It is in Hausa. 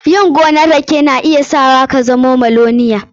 Yin gonan rake na iya sa ka zama miloniya.